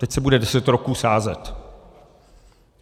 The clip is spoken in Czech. Teď se bude deset roků sázet.